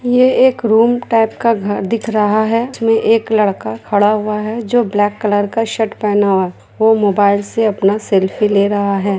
ये एक room type का घर दिख रहा है इसमें एक लडक खड़ा हुआ है जो ब्लैक कलर का शर्ट पहना हुआ है वो मोबाईल से अपना सेल्फ़ी ले रहा है।